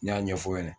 N y'a ɲɛfɔ o ɲɛna